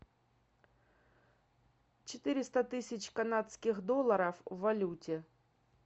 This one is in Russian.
четыреста тысяч канадских долларов в валюте